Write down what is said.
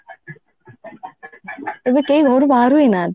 ଏବେ କେହି ଘରୁ ବାହାରୁ ହି ନାହାନ୍ତି